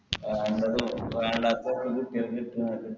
വേണ്ടാത്ത ഓരോന്ന്